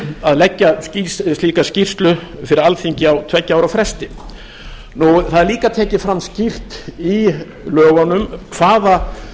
að leggja slíka skýrslu fyrir alþingi á tveggja ára fresti það er líka tekið fram skýrt í lögunum hvaða